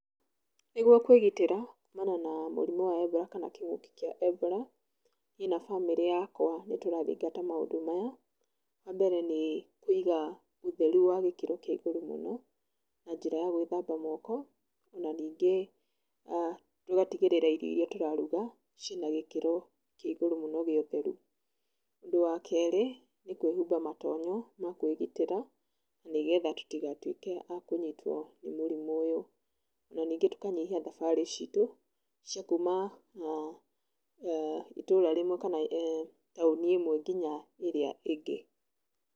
Nĩguo kwĩgitĩra kumana na mũrimũ wa Ebola, kana kĩng'ũki kĩa Ebola, niĩ na bamĩrĩ yakwa nĩtũrathingata maũndũ maya, wa mbere nĩ kũiga ũtheru wa gĩkĩro kĩa igũrũ mũno, na njĩra ya gwĩthamba mooko na ningĩ tũgatigĩrĩra irio iria tũraruga ciĩna gĩkĩro kĩa igũrũ mũno gĩa ũtheru. Ũndũ wa kerĩ, nĩ kwĩhumba matonyo ma kwĩgitĩra, nĩgetha tũtigatuĩke a kũnyitwo nĩ mũrimũ ũyũ na ningĩ tũkanyihia thabarĩ citũ cia kuuma uh itũũra rĩmwe kana [uh]taũni ĩmwe nginya ĩrĩa ĩngĩ.